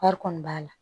Wari kɔni b'a la